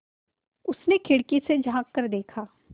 उसने खिड़की से झाँक कर देखा